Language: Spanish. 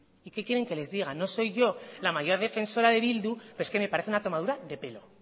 y qué quieren que les diga no soy yo la mayor defensora de bildu pero es que me parece una tomadura de pelo